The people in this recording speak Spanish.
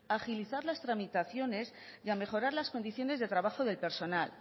agilizar las tramitaciones y a mejorar las condiciones de trabajo del personal